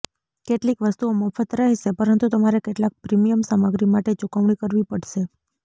કેટલીક વસ્તુઓ મફત રહેશે પરંતુ તમારે કેટલાક પ્રીમિયમ સામગ્રી માટે ચૂકવણી કરવી પડશે